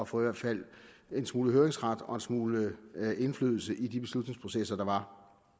få i hvert fald en smule høringsret og en smule indflydelse på de beslutningsprocesser der var